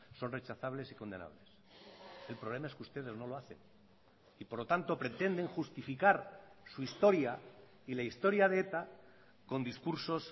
son rechazables y condenables el problema es que ustedes no lo hacen y por lo tanto pretenden justificar su historia y la historia de eta con discursos